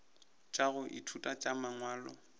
tša go ithuta tša mangwalo